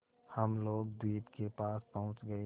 हम लोग द्वीप के पास पहुँच गए